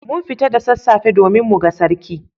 Mun fita da sassafe domin muga Sarki.